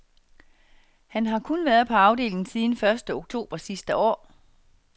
Han har kun været på afdelingen siden første oktober sidste år.